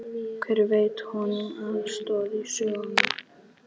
Hver veitti honum aðstoð í söngnum?